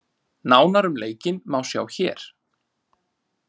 Nánar um leikinn má sjá hér